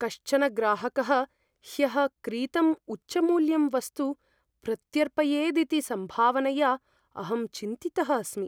कश्चन ग्राहकः ह्यः क्रीतम् उच्चमूल्यं वस्तु प्रत्यर्पयेदिति सम्भावनया अहं चिन्तितः अस्मि।